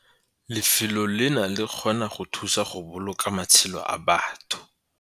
"Lefelo leno le kgona go thusa go boloka matshelo a batho!"